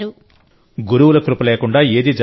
గురువుల కృప లేకుండా ఏదీ జరగదు